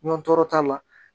Ɲɔn tɔɔrɔ t'a la